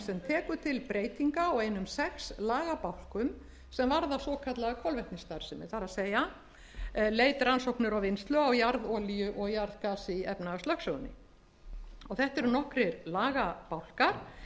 tekur til breytinga á einum sex lagabálkum sem varða svokallaða kolvetnisstarfsemi það er leit rannsóknir og vinnslu á jarðolíu og jarðgasi í efnahagslögsögunni þetta eru nokkrir lagabálkar